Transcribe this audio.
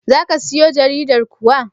Za ka siyo jaridar kuwa?